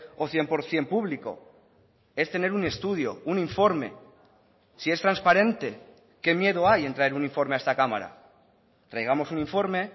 o cien por ciento público es tener un estudio un informe si es transparente qué miedo hay en traer un informe a esta cámara traigamos un informe